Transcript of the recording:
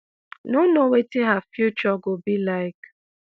no know wetin her future go be like.